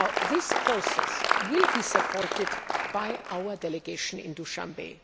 This process will be supported by our delegation in Dushanbe.